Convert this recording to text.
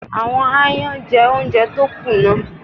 Àwọn aáyán jẹ oúnjẹ tó kù náà.